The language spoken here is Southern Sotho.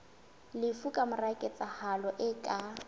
lefu kamora ketsahalo e ka